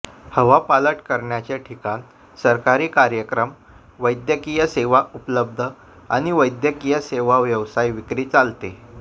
हवापालट करण्याचे ठिकाण सरकारी कार्यक्रम वैद्यकीय सेवा उपलब्ध आणि वैद्यकीय सेवा व्यावसायिक विक्री चालते